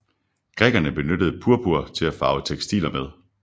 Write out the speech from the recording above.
Grækerne benyttede purpur til at farve tekstiler med